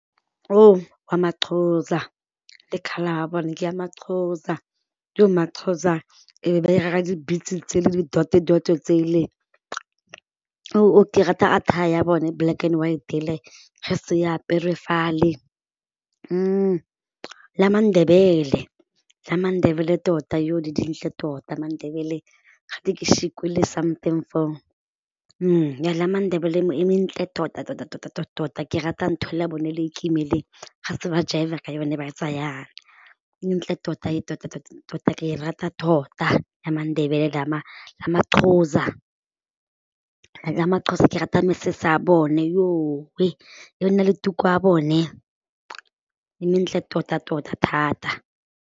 Wa ma-Xhosa le coluor ya bone ke ya ma-Xhosa, iyoh ma-Xhosa ba ira di-beads tse le di-dot-e-dot-e tsele. Ke rata attire ya bone black and white ele ga setse ya apere fale, le ya ma-Ndebele, le ya ma-Ndebele tota yoh di dintle tota ma-Ndebele ga something foo, le ya ma-Ndebele e entle tota-tota-tota ke rata ntho ele ya bone le kima ele ga ba setse ba jaiva ka yona ba etsa jaana ka yone, e ntle tota-tota-tota ke rata tota ya ma-Ndebele le ya ma le ya ma-Xhosa. Ya ma-Xhosa ke rata mesese ya bone le tuku ya bone e mentle tota-tota thata.